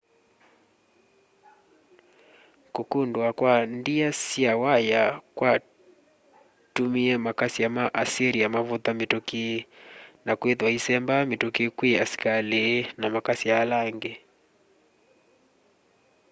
kukundua kwa ndia sya waya kwatumie makasya ma assyria mavutha mituki na kwithwa issemba mituki kwi asikali na makasya ala angi